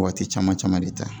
Waati caman caman de ta